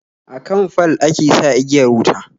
Akan fal ake sa igiyar wuta